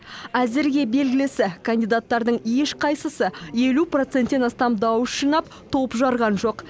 әзірге белгілісі кандидаттардың ешқайсысы елу проценттен астам дауыс жинап топ жарған жоқ